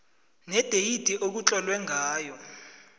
nedeyidi ekutlolwe ngayo